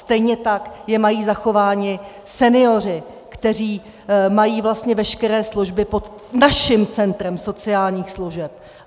Stejně tak je mají zachovány senioři, kteří mají vlastně veškeré služby pod naším centrem sociálních služeb.